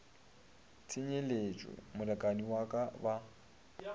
tsenyeletšwe molekani wa ka ba